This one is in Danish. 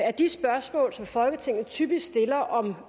at de spørgsmål som folketinget typisk stiller om